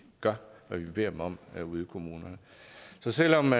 gør hvad vi beder dem om ude i kommunerne så selv om